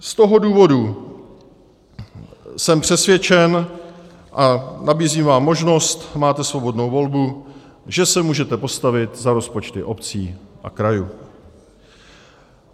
Z toho důvodu jsem přesvědčen, a nabízím vám možnost, máte svobodnou volbu, že se můžete postavit za rozpočty obcí a krajů.